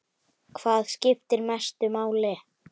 Hvað skiptir mestu máli?